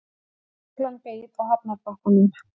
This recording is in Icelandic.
Lögreglan beið á hafnarbakkanum.